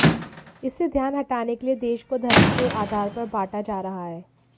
इससे ध्यान हटाने के लिए देश को धर्म के आधार पर बांटा जा रहा है